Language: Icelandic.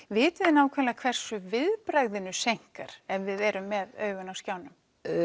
vitið þið nákvæmlega hversu viðbragðinu seinkar ef við erum með augun á skjánum